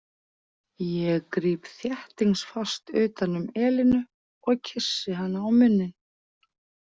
Ég gríp þéttingsfast utan um Elínu og kyssi hana á munninn.